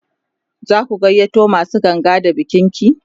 zaku gayyato masu ganga da bikin ki?